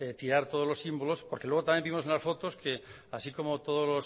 tirar todos los símbolos porque luego también vimos unas fotos que así como todos